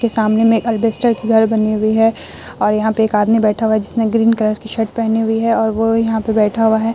के सामने में एक अलबेस्टर की घर बनी हुई है और यहाँ पे एक आदमी बैठा हुआ है जिसने ग्रीन कलर की शर्ट पहनी हुई है और वो यहाँ पे बैठा हुआ है।